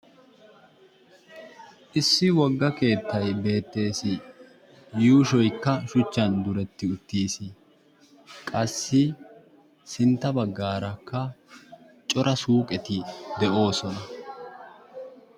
Issi wogga keettay beettees. Yuushshoykka shuchchan diretti uttiis. Qassi sintta baggaarakka cora suuqetti de'oosona